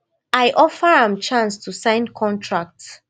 i offer am chance to sign contract